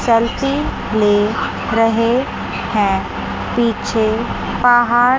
selfie ले रहे हैं पीछे पहाड़--